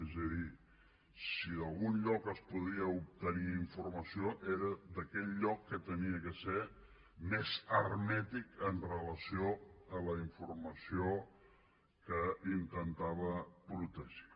és a dir si d’algun lloc es podia obtenir informació era d’aquell lloc que havia de ser més hermètic amb relació a la informació que intentava protegir